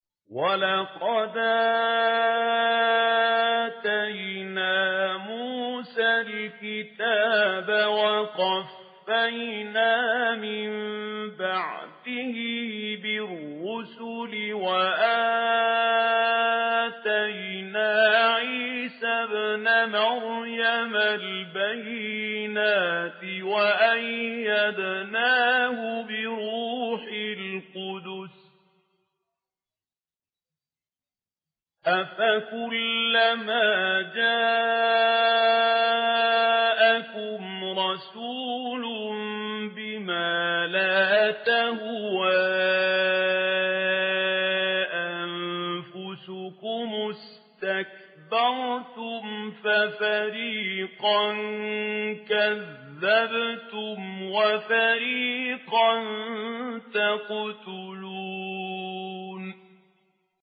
وَلَقَدْ آتَيْنَا مُوسَى الْكِتَابَ وَقَفَّيْنَا مِن بَعْدِهِ بِالرُّسُلِ ۖ وَآتَيْنَا عِيسَى ابْنَ مَرْيَمَ الْبَيِّنَاتِ وَأَيَّدْنَاهُ بِرُوحِ الْقُدُسِ ۗ أَفَكُلَّمَا جَاءَكُمْ رَسُولٌ بِمَا لَا تَهْوَىٰ أَنفُسُكُمُ اسْتَكْبَرْتُمْ فَفَرِيقًا كَذَّبْتُمْ وَفَرِيقًا تَقْتُلُونَ